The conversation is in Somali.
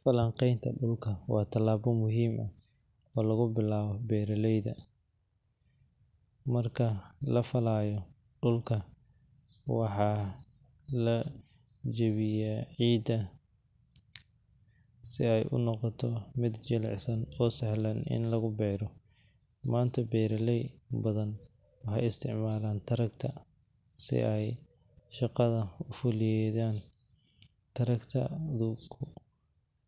Falanqaynta dhulka waa talaabo muhiim ah oo lagu bilaabo beeralayda. Marka la falayo dhulka, waxaa la jebiyaa ciidda si ay u noqoto mid jilicsan oo sahlan in lagu beero. Maanta, beeraley badan waxay isticmaalaan tractor si ay shaqada u fududeeyaan. Tractor-ku